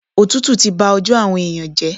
Òtútù ti ba ọjọ́ àwọn èèyàn jẹ́.